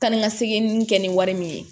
Taa ni ka segin kɛ ni wari min ye